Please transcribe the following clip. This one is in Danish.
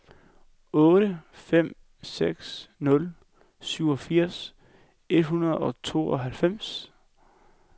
otte fem seks nul syvogfirs et hundrede og tooghalvfems